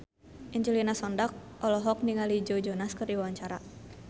Angelina Sondakh olohok ningali Joe Jonas keur diwawancara